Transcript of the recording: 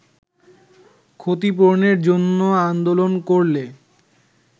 ক্ষতিপূরনের জন্য আন্দোলন করলে